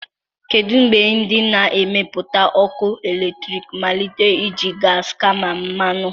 Kedu mgbe ndị na-emepụta ọkụ eletrik malitere iji gas kama mmanụ?